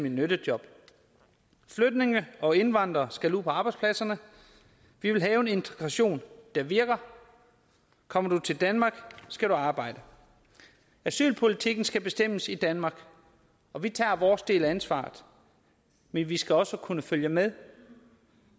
i nyttejob flygtninge og indvandrere skal ud på arbejdspladserne vi vil have en integration der virker kommer du til danmark skal du arbejde asylpolitikken skal bestemmes i danmark og vi tager vores del af ansvaret men vi skal også kunne følge med